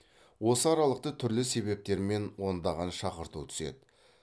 осы аралықта түрлі себептермен ондаған шақырту түседі